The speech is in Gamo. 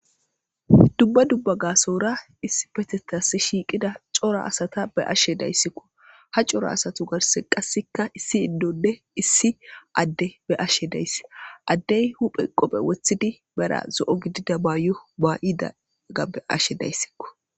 Dubba dubba gasora issi petetas shiiqida coro asata be ashe dayssikko ha coro asatu garse qassekka issi iddode issi adde be ashe dayss addey huphe qophe wothidi bera zo'o gidida baayo baa'idaga be ashe dayssikko